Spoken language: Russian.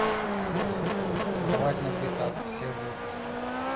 рвать на битах все выпуски